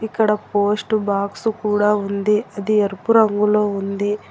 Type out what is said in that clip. ఇక్కడ post box కూడా ఉంది అది ఎరుపు రంగులో ఉంది.